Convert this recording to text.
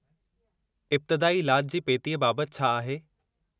इब्तादाई इलाज जी पेटीअ बाबति छा आहे?